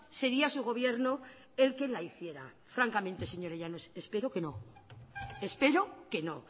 sería su gobierno el que la hiciera francamente señora llanos espero que no espero que no